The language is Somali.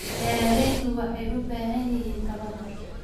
Beeraleydu waxay u baahan yihiin tababar.